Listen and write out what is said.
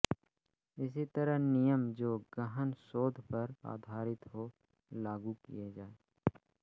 इसी तरह नियम जो गहन शोध पर आधारित हों लागू किए जाएं